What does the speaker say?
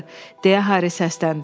deyə Harri səsləndi.